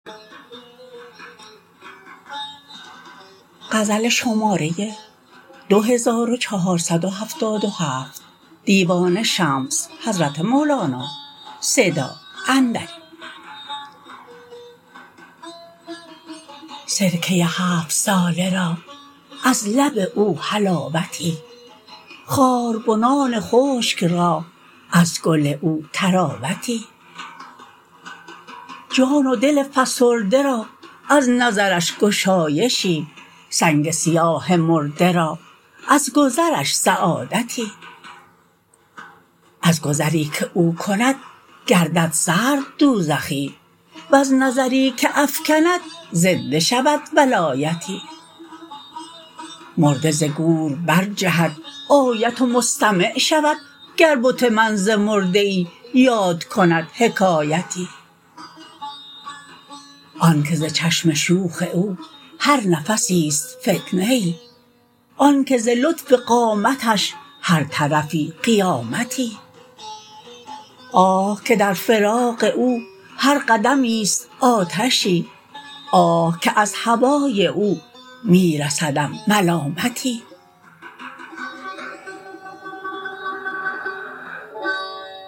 سرکه هفت ساله را از لب او حلاوتی خاربنان خشک را از گل او طراوتی جان و دل فسرده را از نظرش گشایشی سنگ سیاه مرده را از گذرش سعادتی از گذری که او کند گردد سرد دوزخی وز نظری که افکند زنده شود ولایتی مرده ز گور برجهد آید و مستمع شود گر بت من ز مرده ای یاد کند حکایتی آنک ز چشم شوخ او هر نفسی است فتنه ای آنک ز لطف قامتش هر طرفی قیامتی آه که در فراق او هر قدمی است آتشی آه که از هوای او می رسدم ملامتی